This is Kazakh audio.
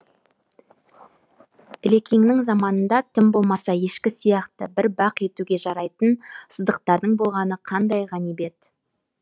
ілекеңнің заманында тым болмаса ешкі сияқты бір бақ етуге жарайтын сыдықтардың болғаны қандай ғанибет